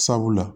Sabula